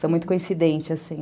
São muito coincidentes, assim.